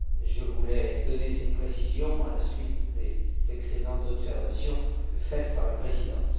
Je voulais donner ces précisions à la suite des excellentes observations faites par la Présidence.